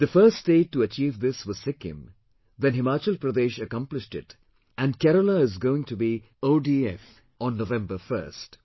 The first state to achieve this was Sikkim, then Himachal Pradesh accomplished it and Kerala is going to be OFD on November 1st